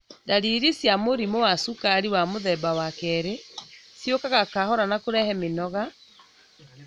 Dariri cia mũrimũ wa cukari wa mũthemba wa kerĩ ciũkaga kahora na kũrehe mĩnoga,